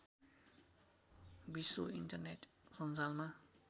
विश्व इन्टरनेट सञ्जालमा